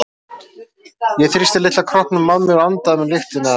Ég þrýsti litla kroppnum að mér og andaði að mér lyktinni af henni.